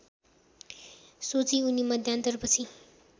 सोची उनी मध्यान्तरपछि